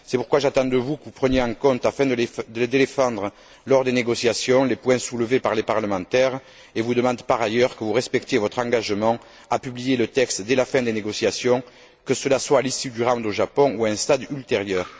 C'est pourquoi j'attends de vous que vous preniez en compte afin de les défendre lors des négociations les points soulevés par les parlementaires et je vous demande par ailleurs que vous respectiez votre engagement de publier le texte dès la fin des négociations, que cela soit à l'issue du round au Japon ou à un stade ultérieur.